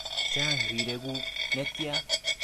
Chang rirek kuk netyaa?